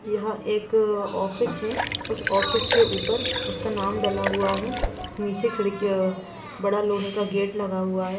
यह एक ऑफिस है। उस ऑफिस के ऊपर उसका नाम डला हुआ है। नीचे खिर्क अ बड़ा लोहे का गेट लगा हुआ है।